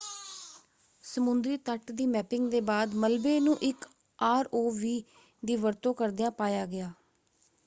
ਸਮੁੰਦਰੀ ਤੱਟ ਦੀ ਮੈਪਿੰਗ ਦੇ ਬਾਅਦ ਮਲਬੇ ਨੂੰ ਇੱਕ ਆਰ.ਓ. ਵੀ ਦੀ ਵਰਤੋਂ ਕਰਦਿਆਂ ਪਾਇਆ ਗਿਆ।